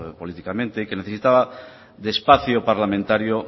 políticamente que necesitaba de espacio parlamentario